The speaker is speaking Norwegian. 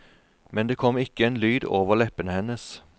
Men det kom ikke en lyd over leppene hennes.